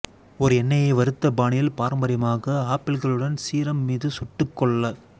ஒரு எண்ணெயை வறுத்த பாணியில் பாரம்பரியமாக ஆப்பிள்களுடன் சீரம் மீது சுட்டுக்கொள்ள